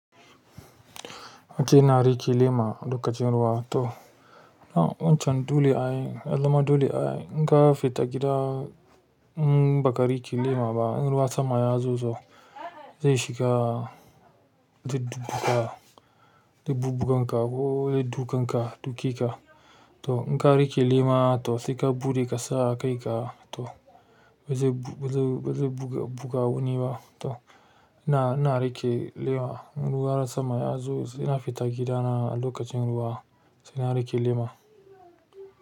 Okey ina riƙe lema lokacin ruwa to. Na wancan dole ayi, yazama dole ai. In ka fita gida in baka riƙe lema ba, in ruwa sama yazo zo zai shiga, zai dubuga, zai bubugan ka ko zai dukan ka, duke ka. To inka riƙe lema to sai ka buɗe ka sa a kai ka to bazai bazai bazai buga buga wuni ba to. Ina, ina riƙe lema. In ruwa sama yazo ina fita gidana lokacin ruwa sai na riƙe lema.